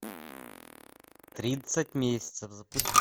тридцать месяцев запусти